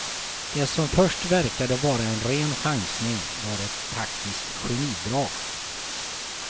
Det som först verkade vara en ren chansning var ett taktiskt genidrag.